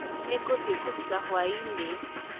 Nĩ ngũthii kũuruta hwai-inĩ